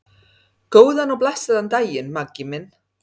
Góðan og blessaðan daginn, Maggi minn.